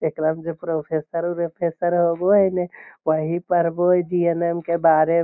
एकरा में जे प्रोफेसर उर्फेसर होवो हीने वही पढ़वो हेय डी.एन.एम. के बारे मे।